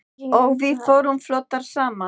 Og við vorum flottar saman.